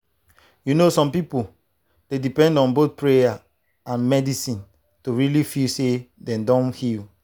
you know some people dey depend on both prayer and medicine to really feel say dem don heal.